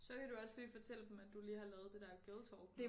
Så kan du også lige fortælle dem at du lige har lavet det der girltalk